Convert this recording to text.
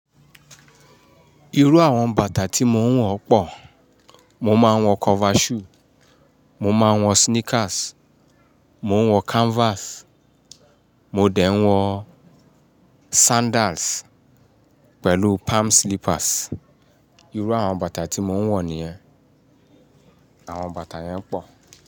Irú àwọn bàtà tí mo ń wọ̀ pọ́ọ̀. Mo máa ń wọ cover shoe, mo máa ń wọ sneakers, mo ń wọ canvas, mo dẹ̀ ń wọ sandals pẹ̀lú palm slippers. Irú àwọn bàtà tí mo ń wọ nìyẹn. Àwọn bàtà yẹn pọ̀